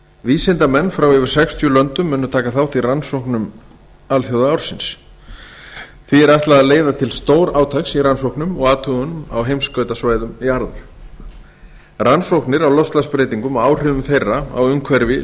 vísindamenn frá yfir sextíu löndum munu taka þátt í rannsóknum alþjóðaársins því er ætlað að leiða til stórátaks í rannsóknum og athugunum á heimskautasvæðum jarðar rannsóknir á loftslagsbreytingum og áhrifum þeirra á umhverfi